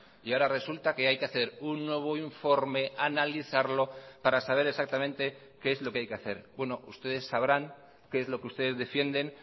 y ahora resulta que hay que hacer un nuevo informe analizarlo para saber exactamente qué es lo que hay que hacer bueno ustedes sabrán qué es lo que ustedes defienden